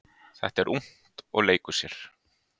Þetta er ungt og leikur sér.